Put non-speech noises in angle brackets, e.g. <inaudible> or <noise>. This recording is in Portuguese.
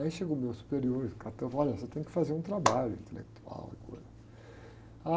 Aí chegou o meu superior e, <unintelligible> olha, você tem que fazer um trabalho intelectual agora.